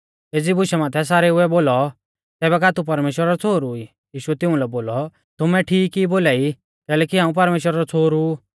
एज़ी बुशा माथै सारेऊ ऐ बोलौ तैबै का तू परमेश्‍वरा रौ छ़ोहरु ई यीशुऐ तिउंलै बोलौ तुमै ठीक ई बोलाई कैलैकि हाऊं परमेश्‍वरा रौ छ़ोहरु ऊ